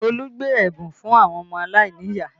Olu gbé ẹ̀bùn fún àwọn ọmọ aláìníyàá